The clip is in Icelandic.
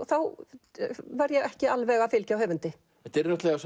þá var ég ekki alveg að fylgja höfundi þetta eru náttúrulega